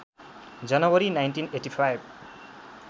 जनवरी १९८५